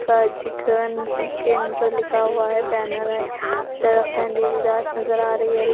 दुकान के अंदर लिखा हुआ है बैनर है। अंधेरी रात नजर आ रहा है।